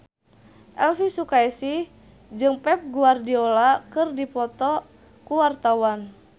Elvy Sukaesih jeung Pep Guardiola keur dipoto ku wartawan